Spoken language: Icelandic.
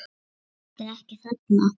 Er boltinn ekki þarna?